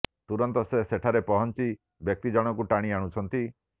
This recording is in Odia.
ତୁରନ୍ତ ସେ ସେଠାରେ ପହଞ୍ଚି ବ୍ୟକ୍ତି ଜଣଙ୍କୁ ଟାଣି ଆଣୁଛନ୍ତି